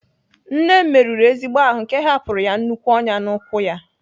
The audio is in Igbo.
Nne m merụrụ ezigbo ahụ nke hapụrụ ya nnukwu ọnyá n'ụkwụ ya.